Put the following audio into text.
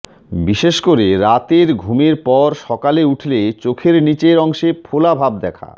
বিশেষ করে রাতের ঘুমের পর সকালে উঠলে চোখের নীচের অংশে ফোলা ভাব দেখা